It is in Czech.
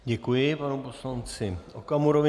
Děkuji panu poslanci Okamurovi.